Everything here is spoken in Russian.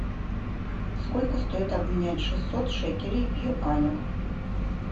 сколько стоит обменять шестьсот шекелей в юанях